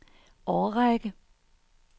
årrække